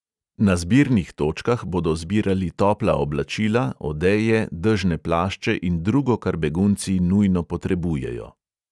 Na zbirnih točkah bodo zbirali topla oblačila, odeje, dežne plašče in drugo, kar begunci nujno potrebujejo.